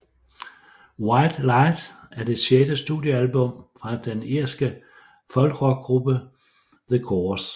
White Light er det sjette studiealbum fra den irske folkrockgruppe The Corrs